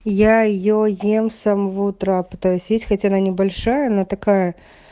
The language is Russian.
я её ем самого утра пытаюсь есть хоть она небольшая она такая